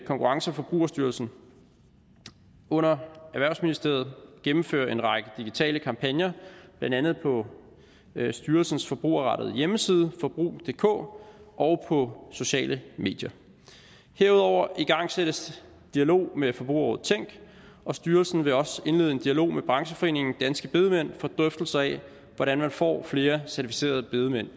konkurrence og forbrugerstyrelsen under erhvervsministeriet gennemføre en række digitale kampagner blandt andet på styrelsens forbrugerrettede hjemmeside forbrug dk og på sociale medier herudover igangsættes dialog med forbrugerrådet tænk og styrelsen vil også indlede en dialog med brancheforeningen danske bedemænd for drøftelse af hvordan man får flere certificerede bedemænd